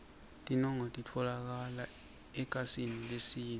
tinoueli titfolokala ekhasini lesine